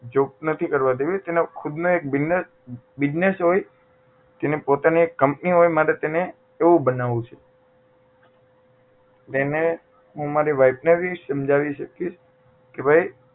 job નથી કરવા દેવી તેને ખુદ ને એક business business હોય તેની પોતાની એક company હોય મારે તેને એવું બનાવું છે એટલે એને હું મારી wife ને પણ સમજાવી શકીશ કે ભાઈ